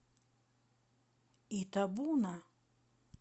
итабуна